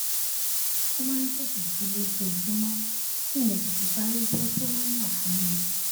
mo máa ń tètè jí lójoojúmó kí n lè tètè parí iṣé tí wón yàn fún mi